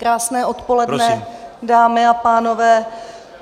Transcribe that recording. Krásné odpoledne, dámy a pánové.